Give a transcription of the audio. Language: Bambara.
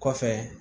Kɔfɛ